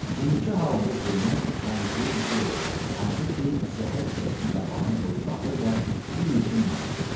İndiki halında Zeynəb bənzəyirdi bir elə şəxsə, hansı ki, zəhər şüşəsini qabağına qoyub baxır və bilmir ki, neyləsin.